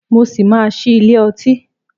Mo ṣì máa ṣí ilé ọtí.